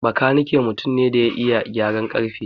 Makanike mutum ne da ya iya gyaran ƙarfe.